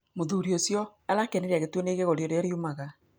Mũthũrĩ ũcĩo arakenĩre agĩtũonĩa ĩgego rĩrĩa rĩraũmĩre